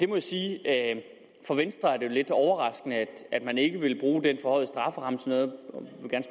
må jeg sige at for venstre er det lidt overraskende at man ikke vil bruge den forhøjede strafferamme til noget